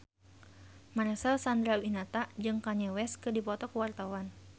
Marcel Chandrawinata jeung Kanye West keur dipoto ku wartawan